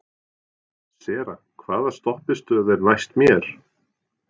Sera, hvaða stoppistöð er næst mér?